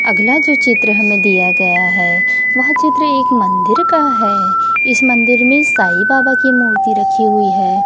अगला जो चित्र हमें दिया गया है वह चित्र एक मंदिर का है इस मंदिर में साईं बाबा की मूर्ति रखी हुई है।